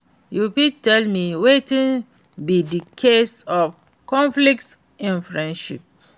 You fit tell me wetin be di cause of conflict in friendship?